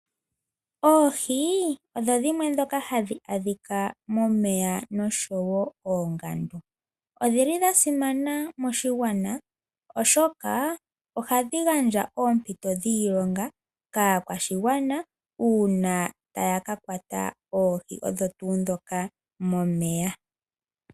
Oohi odho dhimwe dhoka hadhi adhika momeya noshowo oongandu, odhili dha simana moshigwana oshoka ohadhi gandja oompito dhiilonga kaakwashigwana uuna taya ka kwata oohi odho tuu dhoka momeya.